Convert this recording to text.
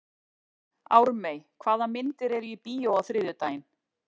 Ármey, hvaða myndir eru í bíó á þriðjudaginn?